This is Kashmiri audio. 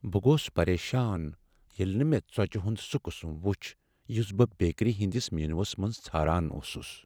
بہٕ گوس پریشان ییٚلہ نہٕ مےٚ ژوچِہ ہنٛد سُہ قسم وچھ یس بہٕ بیکری ہنٛدس مینوس منٛز ژھاران اوسس۔